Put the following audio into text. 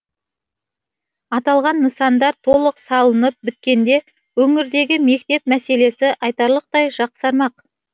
аталған нысандар толық салынып біткенде өңірдегі мектеп мәселесі айтарлықтай жақсармақ